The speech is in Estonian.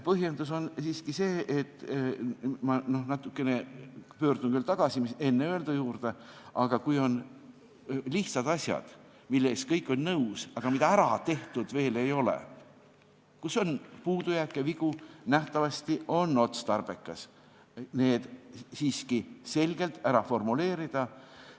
Põhjendus on see, et – ma korraks pöördun veel tagasi enne öeldu juurde – kui on lihtsad asjad, millega kõik on nõus, aga mida veel ära tehtud ei ole ja milles on puudujääke, vigu, siis nähtavasti on otstarbekas need selgelt formuleerida.